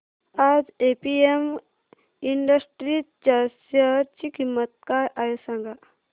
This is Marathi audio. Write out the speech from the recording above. आज एपीएम इंडस्ट्रीज च्या शेअर ची किंमत काय आहे सांगा